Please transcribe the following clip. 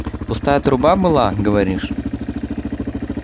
пустая труба была говоришь